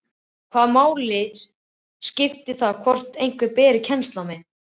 Hvaða máli skiptir það hvort einhver beri kennsl á mig?